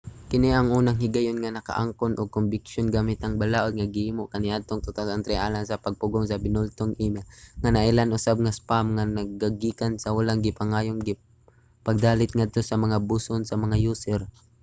kini ang unang higayon nga nakaangkon og kombiksyon gamit ang balaod nga gihimo kaniadtong 2003 alang sa pagpugong sa binultong email nga nailhan usab nga spam nga nagagikan sa wala gipangayong pagdalit ngadto sa mga buson sa mga user